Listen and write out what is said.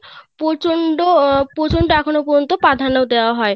প্রচন্ড প্রচন্ড এখনো পর্যন্ত প্রাধান্য দেওয়া হয়